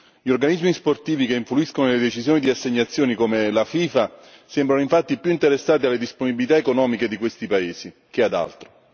Gli organismi sportivi che influiscono sulle decisioni di assegnazioni, come la FIFA sembrano infatti più interessati alle disponibilità economiche di questi paesi che ad altro.